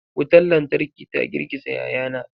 Wutar lantarki ta girgiza yayana.